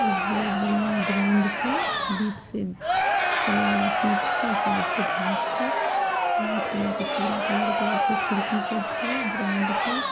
एक बहुत बढ़िया एक ग्राउन्ड छै बीच से चलय वाला पीछे साइड से घांस छै व्हाइट कलर से पूरा कलर गेल छै खिड़की सब छै ग्राउन्ड छै ।